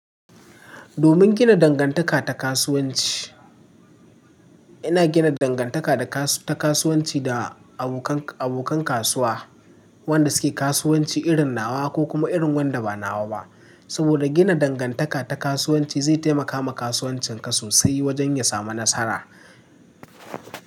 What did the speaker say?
Domin gina dangantaka ta kasuwanci, ina gina dangantaka da ta kasuwanci da abokan kasuwa wanda suke kasuwanci irin nawa ko kuma irin wanda ba nawa ba. Saboda gina dangantaka ta kasuwanci zai taimaka ma kasuwancin ka sosai wajen ya samu nasara.